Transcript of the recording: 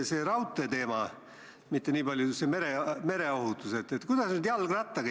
See on selge, et prantslasi me toetame tingimusteta.